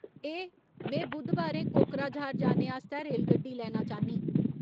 ए, में बु़द्धबारें कोकराझार जाने आस्तै रेलगड्डी लैना चांह्न्नीं